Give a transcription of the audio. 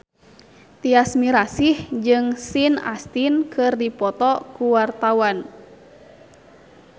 Tyas Mirasih jeung Sean Astin keur dipoto ku wartawan